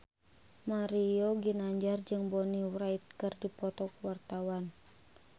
Mario Ginanjar jeung Bonnie Wright keur dipoto ku wartawan